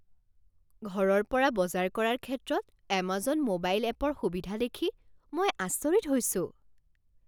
ঘৰৰ পৰা বজাৰ কৰাৰ ক্ষেত্ৰত এমাজন ম'বাইল এপৰ সুবিধা দেখি মই আচৰিত হৈছো।